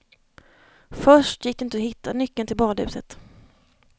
Först gick det inte att hitta nyckeln till badhuset.